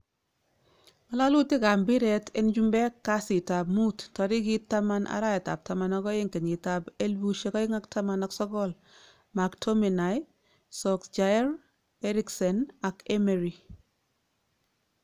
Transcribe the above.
Ngalalulik ab mpiret en chumpek kasitap muut tarikiit 10.12.2019; McTominay, Solskjaer, Eriksen ak Emery